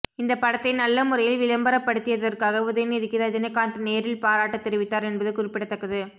இந்த படத்தை நல்ல முறையில் விளம்பரப்படுத்தியற்காக உதயநிதிக்கு ரஜினிகாந்த் நேரில் பாராட்டு தெரிவித்தார் என்பது குறிப்பிடத்தக்கது